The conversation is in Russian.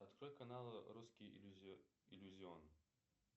открой каналы русский иллюзион